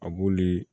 A b'olu